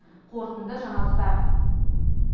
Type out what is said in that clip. қорытынды жаңалықтар